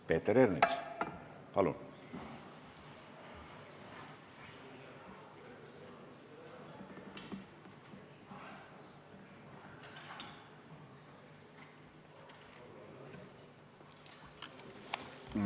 Peeter Ernits, palun!